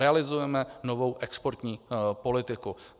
Realizujeme novou exportní politiku.